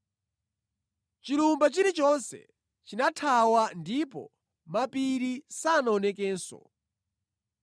Chilumba chilichonse chinathawa ndipo mapiri sanaonekenso.